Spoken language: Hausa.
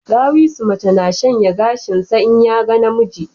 Ɗawisu mace na shanya gashinsa in ya ga namiji